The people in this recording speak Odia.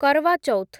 କରୱା ଚୌଥ୍